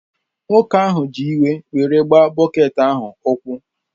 Nwoke ahụ ji iwe were gbaa bọket ahụ ụkwụ